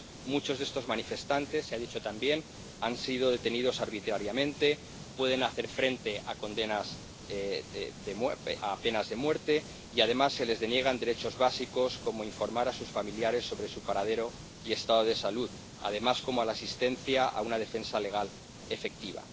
Muchos de estos manifestantes ―se ha dicho también― han sido detenidos arbitrariamente, pueden hacer frente a condenas de pena de muerte y, además, se les deniegan derechos básicos, como informar a sus familiares sobre su paradero y estado de salud, así como la asistencia a una defensa legal efectiva.